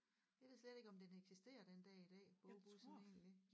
Jeg ved slet ikke om den eksisterer den dag i dag bogbussen egentlig